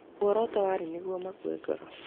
Muoroto warĩ nĩguo makue ngoro